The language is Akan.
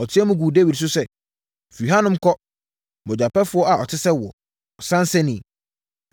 Ɔteaam guu Dawid so sɛ, “Firi hanom kɔ! Mogyapɛfoɔ a ɔte sɛ woɔ! Ɔsansani!